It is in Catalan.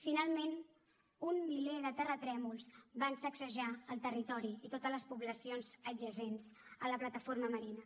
finalment un miler de terratrèmols van sacsejar el territori i totes les poblacions adjacents a la plataforma marina